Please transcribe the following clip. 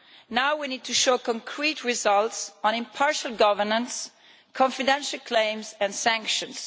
Now we need to show concrete results on impartial governance, confidential claims and sanctions.